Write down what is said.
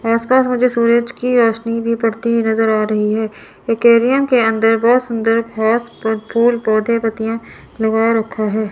आस पास मुझे सूरज की रोशनी भी पड़ती हुई नजर आ रही है अंदर बहुत सुंदर घास फूल पौधे पत्तियां लगा रखा है।